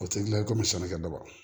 O tɛ gilan ye komi sannikɛ baga